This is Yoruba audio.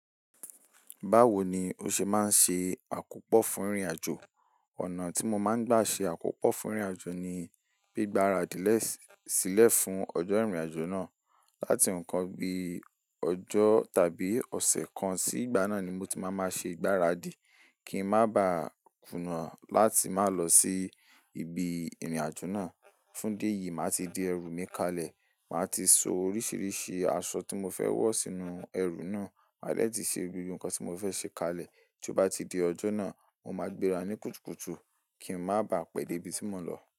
Báwo ni o ṣe máa ń ṣe àkópọ̀ fún ìrìnàjò? Ọ̀nà tí mo máa ń gbà ṣe àkópọ̀ fún ìrìnàjò ni gbígbaradi lẹ́ sìlẹ̀ fún ọjọ́ ìrìnàjò náà. Láti nǹkan bii ọjọ́ tàbí ọ̀sẹ̀ kan sí ìgbà náà ni mo ti máa máa ṣe ìgbáradì kí n má baa kùnà láti má lọ sí ibi ìrìnàjò náà. Fún idi yìí, màá ti di ẹrù mi kalẹ̀. Màá ti so oríṣiríṣi aṣọ tí mo fẹ́ wọ̀ sínú ẹrù náà. Màá dè ti ṣe gbogbo nǹkan tí mo fẹ́ ṣe kalẹ̀. Tí ó bá ti di ọjọ́ náà, mo máa gbera ní kùtùkùtù kí n má baa pẹ́ dé ibi tí mò ń lọ.